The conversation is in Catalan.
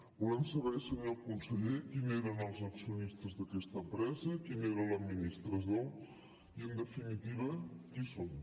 volem saber senyor conseller qui eren els accionistes d’aquesta empresa qui era l’administrador i en definitiva qui són